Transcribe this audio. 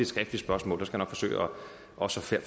skriftligt spørgsmål og så skal